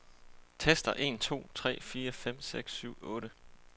Tester en to tre fire fem seks syv otte.